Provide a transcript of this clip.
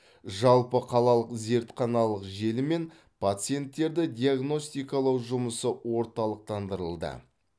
жалпықалалық зертханалық желі мен пациенттерді диагностикалау жұмысы орталықтандырылды